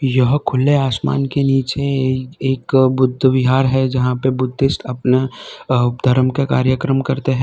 यह खुले आसमान के नीचे ये एक बुद्ध विहार है जहां पे बुद्धिस्ट अपना धर्म का कार्यक्रम करते हैं।